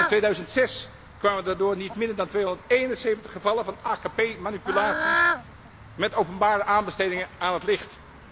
Al in 2006 kwamen daardoor niet minder dan 271 gevallen van AKP manipulaties met openbare aanbestedingen aan het licht.